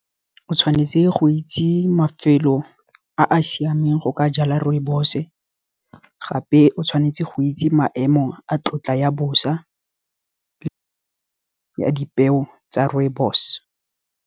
O tshwanetse go itse mafelo a a siameng go ka jala rooibos-o gape o tshwanetse go itse maemo a tlotla ya bosa, dipeo tsa rooibos.